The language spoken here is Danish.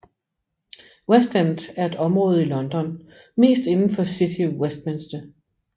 West End er et område i London mest inden for City of Westminster